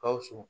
Gawusu